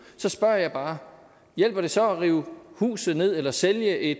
så spørger jeg bare hjælper det så at rive huset ned eller sælge